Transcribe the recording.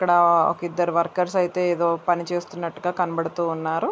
ఇక్కడ ఇద్దరు వర్కర్స్ అయితే పని చేస్తున్నట్టుగా కనబడుతున్నారు.